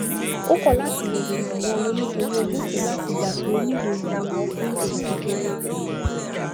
ó kò láti bère ìràwó owó nítorí ojú tìí láti gbà pé ó nílò ìrànwó fún òwò kékeré rè